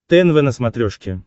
тнв на смотрешке